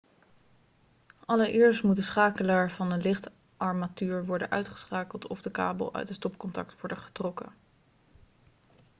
allereerst moet de schakelaar van de lichtarmatuur worden uitgeschakeld of de kabel uit het stopcontact worden getrokken